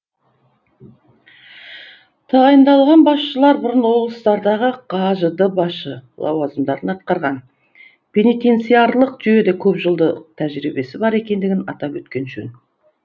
тағайындалған басшылар бұрын облыстардағы қажд басшы лауазымдарын атқарған пенитенциарлық жүйеде көпжылдық тәжірибесі бар екендігін атап өткен жөн